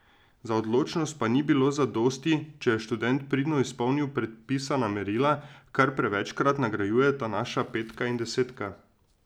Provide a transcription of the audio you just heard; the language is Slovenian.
Za odličnost pa ni bilo zadosti, če je študent pridno izpolnil predpisana merila, kar prevečkrat nagrajujeta naša petka in desetka.